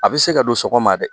A bɛ se ka don sɔgɔma dɛ